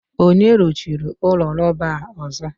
onye ruchiri ụlọ rọba a ụzọ?